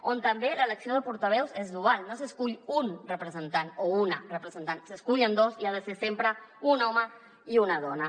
on també l’elecció de portaveus és dual no s’escull un representant o una representant se n’escullen dos i ha de ser sempre un home i una dona